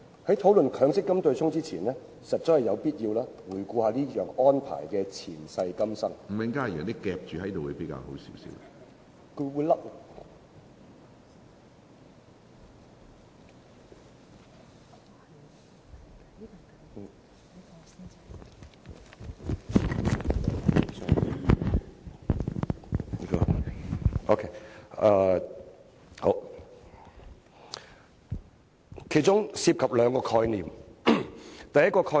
在討論強積金對沖安排前，實在有必要回顧這項安排的前世今生，強積金計劃當中涉及兩個概念。